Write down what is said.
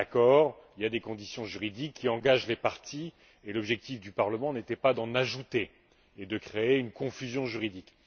Il y a un accord, il y a des conditions juridiques qui engagent les parties, et l'objectif du Parlement n'était pas d'en ajouter et de créer une confusion juridique.